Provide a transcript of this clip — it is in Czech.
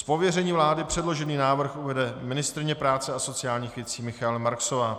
Z pověření vlády předložený návrh uvede ministryně práce a sociálních věcí Michaela Marksová.